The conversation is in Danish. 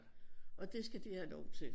Og det skal de have lov til